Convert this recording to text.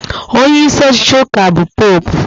Onyeisi ọchịchị ụka bụ Popu